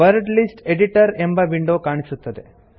word list editor ಎಂಬ window ಕಾಣಿಸುತ್ತದೆ